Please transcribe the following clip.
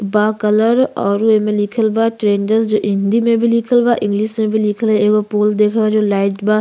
बा कलर और एमे लिखल बा ट्रेंडर्स हिंदी में भी लिखल बा। इंग्लिश में भी लिखल बा। एगो पोल दिख रहल बा जो लाइट बा।